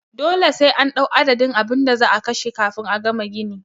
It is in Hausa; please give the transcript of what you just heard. Dole sai an ɗau adadin abinda za'a kashe kafin a gama gini